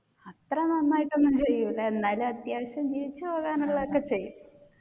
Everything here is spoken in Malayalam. അത്ര നന്നായിട്ട് ഒന്നും ചെയ്യൂല എന്നാലും അത്യാവശ്യം ജീവിച്ചു പോകാനുള്ള ഒക്കെ ചെയ്യും.